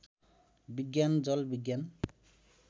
विज्ञान जल विज्ञान